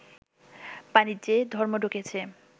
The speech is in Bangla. বাণিজ্যে ধর্ম ঢুকেছে